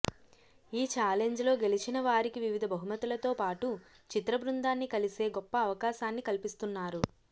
ఈ ఛాలెంజ్లో గెలిచిన వారికి వివిధ బహుమతులతో పాటు చిత్ర బృందాన్ని కలిసే గొప్ప అవకాశాన్ని కల్పిస్తున్నారు